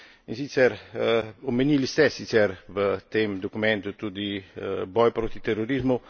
In sicer, omenili ste sicer v tem dokumentu tudi boj proti terorizmu.